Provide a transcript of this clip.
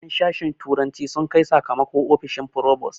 En sashen turanci sun kai sakamako ofishin frobos